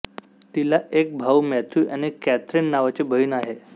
तिला एक भाऊ मॅथ्यु आणि कॅथरीन नावाची बहीण आहे